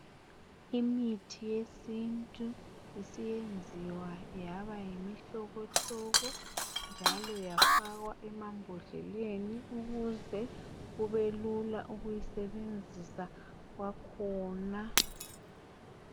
imithi yesintu isiyenziwa yaba yimihlobohlobo njalo yafakwa emambodleleni ukuze kube lula ukuyisebenzisa kwakhona